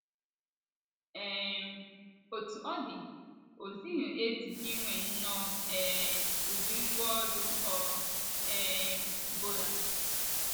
um Otú ọ dị, o zughị ezu inwe nnọọ um ụdị ngwá ọrụ ọ um bụla.